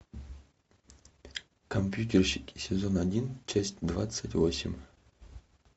компьютерщики сезон один часть двадцать восемь